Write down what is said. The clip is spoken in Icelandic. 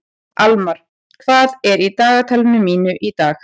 Almar, hvað er í dagatalinu mínu í dag?